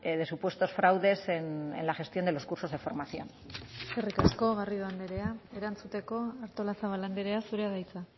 de supuestos fraudes en la gestión de los cursos de formación eskerrik asko garrido andrea erantzuteko artolazabal andrea zurea da hitza